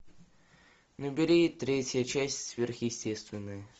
набери третья часть сверхъестественное